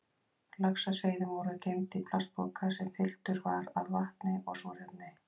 Laxaseiðin voru geymd í plastpoka sem fylltur var af vatni og súrefni.